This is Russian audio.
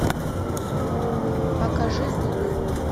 покажи зубы